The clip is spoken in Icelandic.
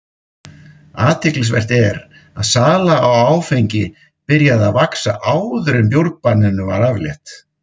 Athyglisvert er að sala á áfengi byrjaði að vaxa áður en bjórbanninu var aflétt.